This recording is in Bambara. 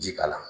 Ji kala